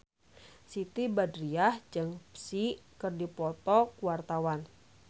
Siti Badriah jeung Psy keur dipoto ku wartawan